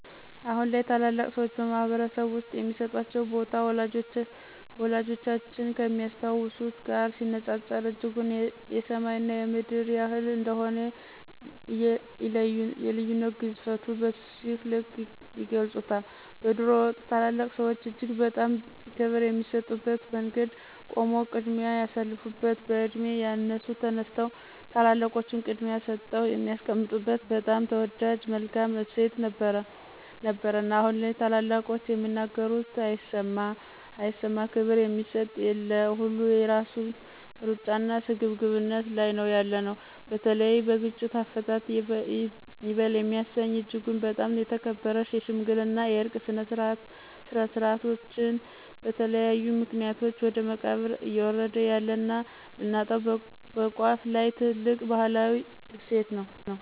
አሁን ላይ ታላላቅ ሰዎች በማህበረሰብ ውስጥ የሚሰጣቸው ቦታ፣ ወላጆቻችን ከሚያስታውሱት ጋር ሲነጻጸር እጅጉን የሰማይ እና የምድር ያህል እንደሆነ የልዩነት ግዝፈቱን በዚህ ልክ ይገልፁታል። በድሮው ወቅት ታላላቅ ሰዎች እጅግ በጣም ክብር የሚሰጡበት መንገድ ቆሞ ቅድሚያ የሳልፋበት፣ በዕድሜ ያነሱ ተነስተው ታላላቆቹን ቅድሚያ ሰጠው የሚያስቀምጡበት በጣም ተወዳጅ መልካም እሴት ነበረን አሁን ላይ ታላላቆቹ የሚናገሩት አይሰማ፣ ክብር የሚሰጥ የለ፣ ሁሉ የየራሱን ሩጫና ስግብግብነት ላይ ነው ያለነው። በተለይ በግጭት አፈታት ይበል የሚያሰኝ እጅጉን በጣም የተከበረ የሽምግልና የዕርቅ ስነ-ስርዓታችን በተለያዩ ምክኒያቶች ወደ መቃብር እዬወረደ ያለና ልናጣው በቋፍ ላይ ትልቅ ባህላዊ እሴት ነው።